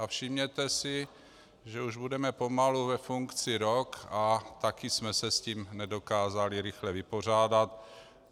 A všimněte si, že už budeme pomalu ve funkci rok, a také jsme se s tím nedokázali rychle vypořádat.